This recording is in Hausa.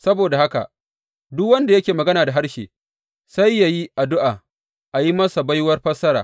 Saboda haka, duk wanda yake magana da harshe, sai yă yi addu’a a yi masa baiwar fassara.